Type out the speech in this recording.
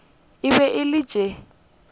e be e le tše